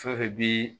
Fɛn fɛn bi